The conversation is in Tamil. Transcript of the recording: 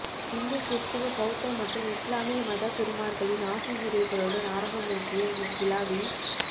இந்து கிறிஸ்தவ பௌத்த மற்றும் இஸ்லாமிய மதகுருமார்களின் ஆசியுரைகளுடன் ஆரம்பமகிய இவ்விழாவில்